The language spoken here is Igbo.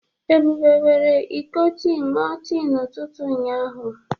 Ebube were iko tii nnúo tii na ututu ụnyaahụ.